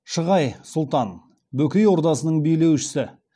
шығай сұлтан бөкей ордасының билеушісі